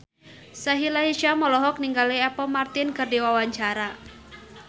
Sahila Hisyam olohok ningali Apple Martin keur diwawancara